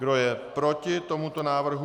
Kdo je proti tomuto návrhu?